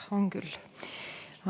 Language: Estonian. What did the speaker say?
On küll.